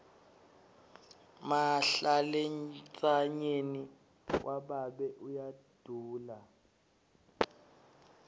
mahlalentsanyeni wababe uyadula